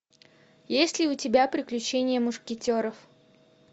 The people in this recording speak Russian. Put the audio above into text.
есть ли у тебя приключения мушкетеров